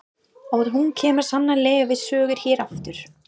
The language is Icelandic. Og hún kemur sannarlega við sögu hér aftar.